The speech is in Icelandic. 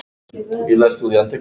Trúði varla sínum eigin augum.